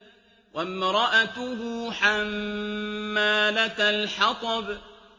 وَامْرَأَتُهُ حَمَّالَةَ الْحَطَبِ